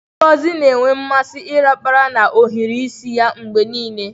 Ngozi na-enwe mmasị ịrapara na ohiri isi ya mgbe niile.